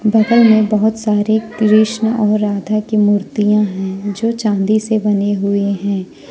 बगल मे बहोत सारे कृष्ण और राधा की मूर्तियां हैं जो चांदी से बने हुए हैं।